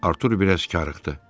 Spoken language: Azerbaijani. Artur biraz karıxdı.